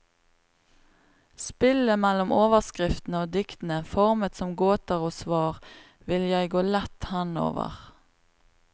Spillet mellom overskriftene og diktene, formet som gåter og svar, vil jeg gå lett henover.